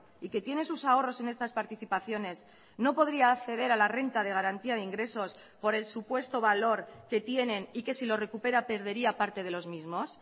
y que tiene sus ahorros en estas participaciones no podría acceder a la renta de garantía de ingresos por el supuesto valor que tienen y que si lo recupera perdería parte de los mismos